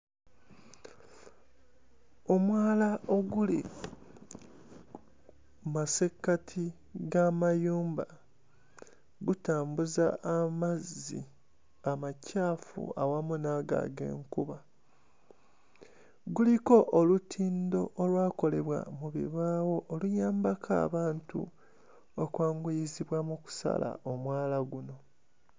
Omwala oguli mu masekkati g'amayumba gutambuza amazzi amacaafu awamu n'ago ag'enkuba. Guliko olutindo olwakolebwa mu bibaawo, oluyambako abantu okwanguyizibwa mu kusala omwala guno.